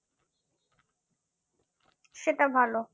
সেটা ভালো